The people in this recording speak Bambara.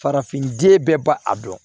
Farafin den bɛɛ ba a dɔn